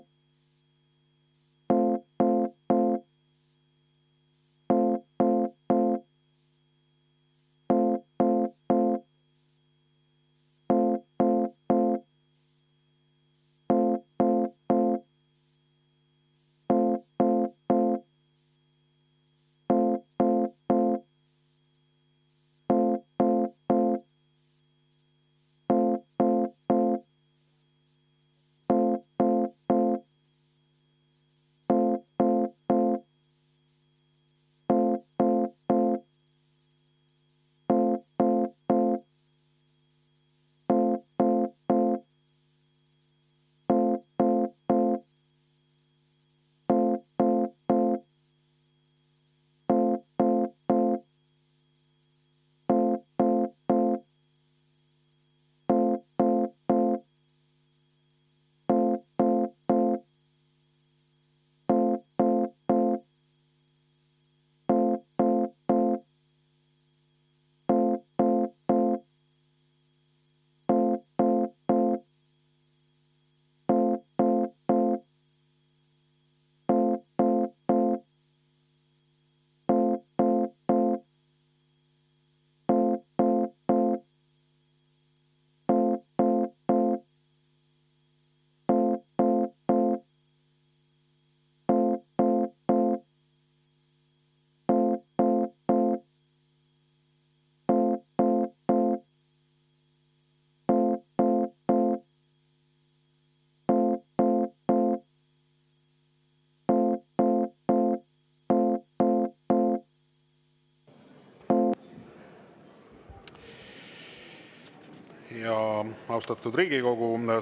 Austatud Riigikogu!